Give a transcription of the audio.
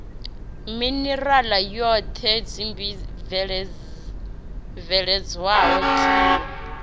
minerala yothe tsimbi bveledzwaho tie